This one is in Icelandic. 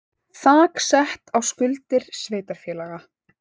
Þak sett á skuldir sveitarfélaga